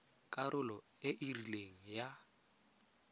karolo e e rileng ya